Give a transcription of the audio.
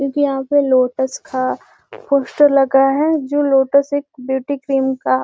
क्योंकि यहाँ पे लोटस का पोस्टर लगा है जो एक लोटस एक ब्यूटी क्रीम का --